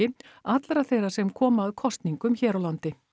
allra þeirra sem koma að kosningum hér á landi